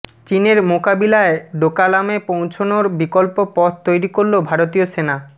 চিনের মোকাবিলায় ডোকালামে পৌঁছনোর বিকল্প পথ তৈরি করল ভারতীয় সেনা